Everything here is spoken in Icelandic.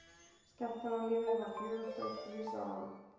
Skemmtanalífið var fjörugt á stríðsárunum.